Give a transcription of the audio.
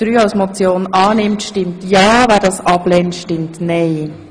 Wer Ziffer 3 annimmt, stimmt ja, wer das ablehnt, stimmt nein.